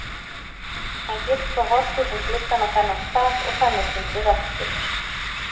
Hann getur þá horft út um gluggann á þennan stað og þannig fundið vestur.